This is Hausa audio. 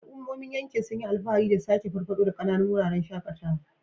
Al'ummomin yankin sun yi alfahari da sake farfado da ƙananun wuraren shakatawa.